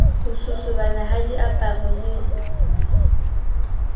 ho sosobana ha diaparo le